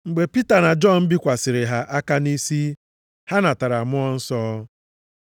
Mgbe Pita na Jọn bikwasịrị ha aka nʼisi, ha natara Mmụọ Nsọ.